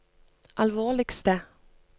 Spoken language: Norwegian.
alvorligste